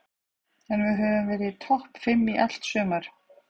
En við höfum verið í topp fimm í allt sumar.